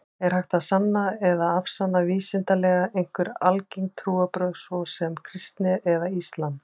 Er hægt að sanna eða afsanna vísindalega einhver algeng trúarbrögð, svo sem kristni eða islam?